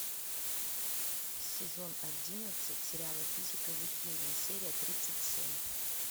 сезон одиннадцать сериала физика или химия серия тридцать семь